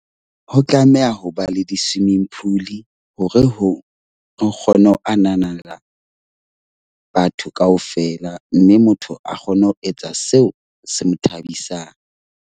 Ho tlameha ho ba le di-swimming pool hore ho re kgone ho ananela batho kaofela. Mme motho a kgone ho etsa seo se mo thabisang.